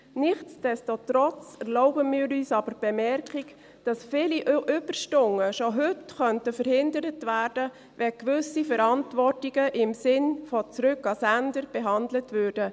Nichts desto trotz erlauben wir uns aber die Bemerkung, dass viele Überstunden schon heute verhindert werden könnten, wenn gewisse Verantwortungen im Sinne von «Zurück an den Absender» behandelt würden.